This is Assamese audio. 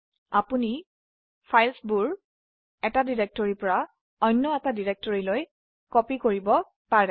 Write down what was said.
আপোনি এই ফাইলবোৰ এটা ডিৰেকটৰি পৰা অন্য ডিৰেকটৰিতলৈ কপি কৰিব পাৰে